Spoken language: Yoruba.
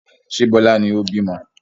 Ṣé Bọlá ni ó bímọ?